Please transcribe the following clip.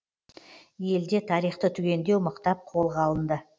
елде тарихты түгендеу мықтап қолға алынды